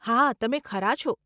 હા, તમે ખરા છો.